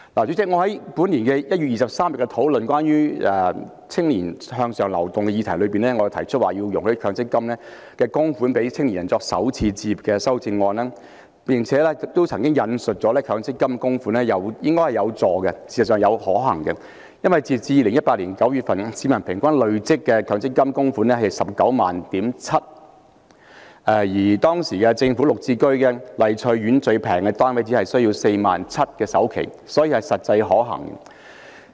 主席，我在本年1月23日討論關於青年向上流動的議題時，提出容許利用強積金供款讓青年人作首次置業的修正案，亦曾指出這是能夠協助他們和實際可行的做法，因為截至2018年9月，市民平均累積的強積金供款是 197,000 元，而當時政府綠表置居計劃下的麗翠苑最便宜的單位，首期只是 47,000 元，所以是實際可行的。